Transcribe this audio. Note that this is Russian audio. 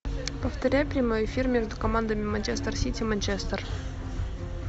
повторяй прямой эфир между командами манчестер сити манчестер